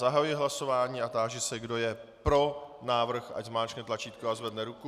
Zahajuji hlasování a táži se, kdo je pro návrh, ať zmáčkne tlačítko a zvedne ruku.